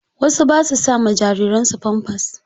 Wasu ba su sama jariran su famfas.